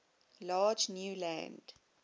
large new land